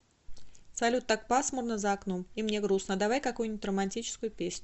салют так пасмурно за окном и мне грустно давай какую нибудь романтическую песню